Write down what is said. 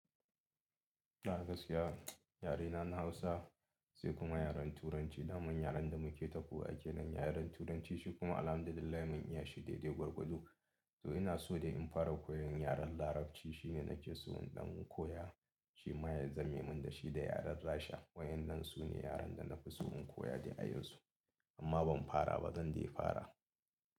Da gaskiya yarena na Hausa sai kuma yaren Turanci. Damar yaren da muke ta koya ke nan yaren Turancin shi kuma alamda Dala mun iya shi daidai gwargwado. To ina so dai in fara koyan yaren Larabci shine nake so in ɗan koya shi ma ya zame mun da shi da yaren Russia. Wa'yannan su ne yaren da na fi so in koya da a yanzu amma ban fara ba, zan dai fara.